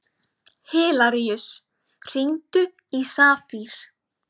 Hilaríus, hringdu í Safír.